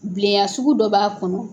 Bilenya sugu dɔ b'a kɔnɔ.